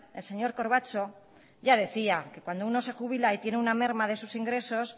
el señor corbacho ya decía que cuando uno se jubila y tiene una merma de sus ingresos